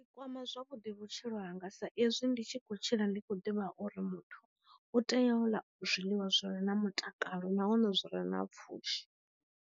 Kwama zwavhuḓi vhutshilo hanga sa ezwi ndi tshi kho tshila ndi kho ḓivha uri muthu u tea u ḽa zwiḽiwa zwire na mutakalo na hone zwire na pfushi.